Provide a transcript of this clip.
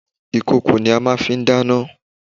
Ìkòkò ni a màa n fi dáná